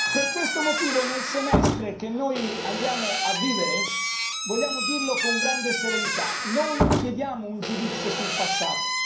Per questo motivo nel Semestre che abbiamo di fronte vogliamo dirlo con grande serenità non chiediamo un giudizio sul passato